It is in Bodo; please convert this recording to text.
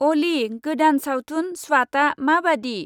अलि, गोदान सावथुन स्वाटा माबादि?